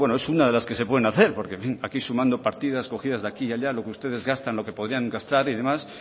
bueno es una de las que se pueden hacer porque en fin aquí sumando partidas cogidas de aquí y allá lo que ustedes gastan lo que podrían gastar y demás